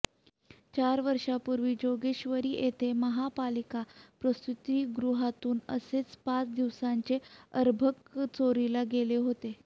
चार वर्षापूर्वी जोगेश्वरी येथील महापालिका प्रसूतिगृहातून असेच पाच दिवसांचे अर्भक चोरीला गेले होते